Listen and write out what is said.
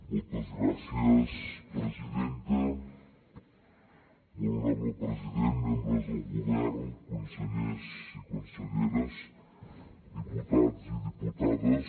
molt honorable president membres del govern consellers i conselleres diputats i diputades